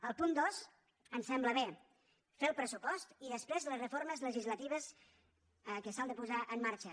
el punt dos ens sembla bé fer el pressupost i després les reformes legislatives que s’han de posar en marxa